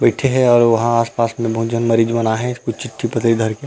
बईथे हे और वहाँ आस-पास में बहुत झन मरीज मन आए हेकुछ चिट्ठी पत्र धर के--